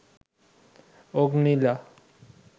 Agnila